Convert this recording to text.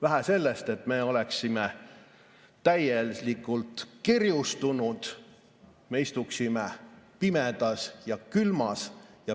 Vähe sellest, et me oleksime täielikult kerjustunud, me istuksime pimedas ja külmas.